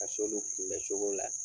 Ka s'olu kunbɛ cogo la